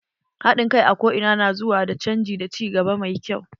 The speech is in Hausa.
Haɗin kai a ko ina na zuwa da canji da ci gaba mafi kyau.